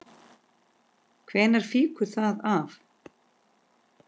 Hvenær fýkur það af?